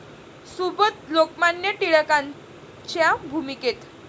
सुबोध 'लोकमान्य टिळकां'च्या भूमिकेत...